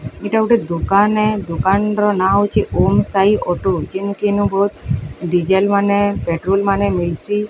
ଇଟା ଗୋଟେ ଦୋକନ ଦୋକାନର ନାଁ ହେଉଛି ଓମ୍ ସାଇ ଅଟୋ ଜିନକେ ଡିଜେଲ୍ ମାନେ ପେଟ୍ରୋଲ ମାନେ ମିଲସି।